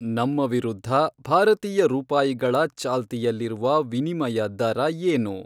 ನಮ್ಮ ವಿರುದ್ಧ ಭಾರತೀಯ ರೂಪಾಯಿಗಳ ಚಾಲ್ತಿಯಲ್ಲಿರುವ ವಿನಿಮಯ ದರ ಏನು